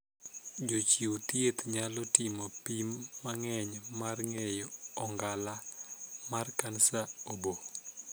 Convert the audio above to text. Jochiw thieth nyalo timo pim mang'eny mar ng'eyo ong'ala mar kansa oboo.